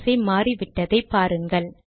வரிசை மாறிவிட்டதை பாருங்கள்